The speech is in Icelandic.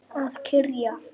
Að kyrja.